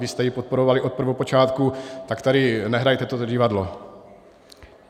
Vy jste ji podporovali od prvopočátku, tak tady nehrajte toto divadlo.